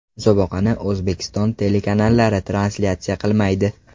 Musobaqani O‘zbekiston telekanallari translyatsiya qilmaydi.